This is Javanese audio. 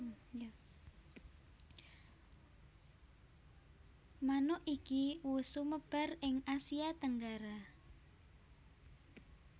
Manuk iki wus sumebar ing Asia Tenggara